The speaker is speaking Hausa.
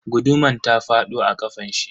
Guduman ta fado a kafanshi.